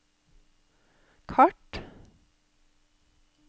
kart